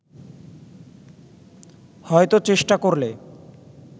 হয়তো চেষ্টা করলে